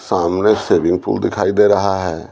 सामने shaving pool दिखाई दे रहा है।